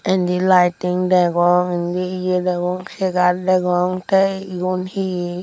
te indi laiting degong indi ye degong segar degong te iyun he he.